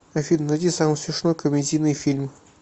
афина найди самый смешной комедийный фильм